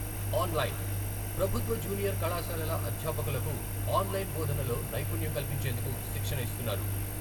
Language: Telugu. ఆన్లైన్, ప్రభుత్వ జూనియర్ కళాశాలల అధ్యాపకులకు ఆన్లైన్ బోధనలో నైపుణ్యం కల్పించేందుకు శిక్షణ ఇస్తున్నారు.